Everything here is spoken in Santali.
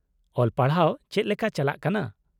-ᱚᱞ ᱯᱟᱲᱦᱟᱣ ᱪᱮᱫ ᱞᱮᱠᱟ ᱪᱟᱞᱟᱜ ᱠᱟᱱᱟ ?